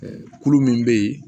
kulu min bɛ yen